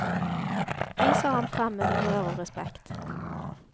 Viser ham frem med humør og respekt.